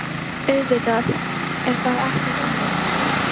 Auðvitað er það ekki þannig.